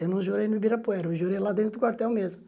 Eu não jurei no Ibirapuera, eu jurei lá dentro do quartel mesmo.